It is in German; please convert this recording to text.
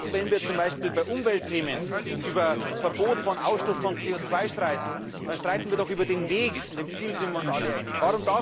Auch wenn wir zum Beispiel bei Umweltthemen über das Verbot des Ausstoßes von CO 2 streiten, dann streiten wir doch über den Weg, und im Ziel sind wir uns alle einig.